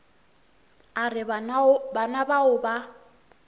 a re bana bao ba